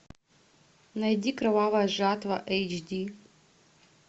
найди кровавая жатва эйч ди